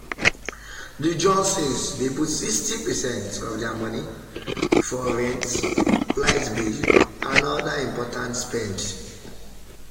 the johnsons dey put 60 percent of their money for rent light bill and other important spend.